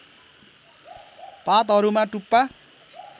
पातहरूमा टुप्पा